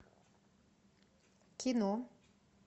кино